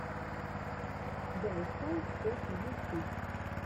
дай файв топ ютьюб